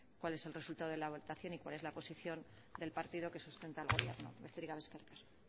cuál es el resultado de la votación y cuál es la posición del partido que sustenta al gobierno besterik gabe eskerrik asko